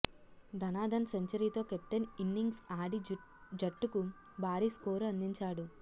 ధనాధన్ సెంచరీతో captain innings ఆడి జట్టుకు భారీ స్కోరు అందించాడు